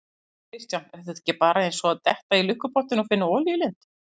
Kristján: Er þetta ekki bara eins og að detta í lukkupottinn og finna olíulind?